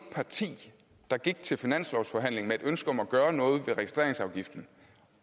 parti der gik til finanslovsforhandling med et ønske om at gøre noget ved registreringsafgiften